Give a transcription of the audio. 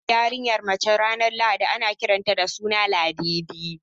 Idan aka haifi yarinyar mace ranar lahadi na kiran ta da suna Ladidi